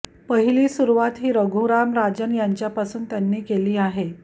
पहिली सुरुवात ही रघुराम राजन यांच्यापासून त्यांनी केली आहे